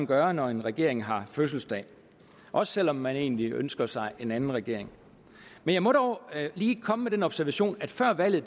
gøre når en regering har fødselsdag også selv om man egentlig ønsker sig en anden regering men jeg må dog lige komme med den observation at før valget